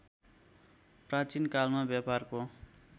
प्राचीन कालमा व्यापारको